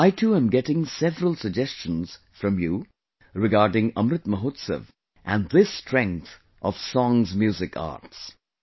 I too am getting several suggestions from you regarding Amrit Mahotsav and this strength of songsmusicarts